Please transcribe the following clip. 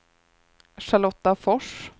Charlotta Fors